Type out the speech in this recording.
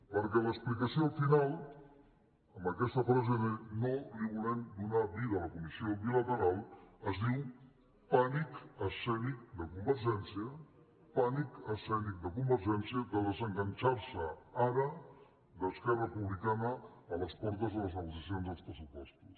perquè l’explicació al final amb aquesta frase de no volem donar vida a la comissió bilateral es diu pànic escènic de convergència pànic escènic de convergència de desenganxar se ara d’esquerra republicana a les portes de les negociacions dels pressupostos